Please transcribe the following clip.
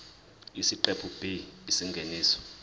isiqephu b isingeniso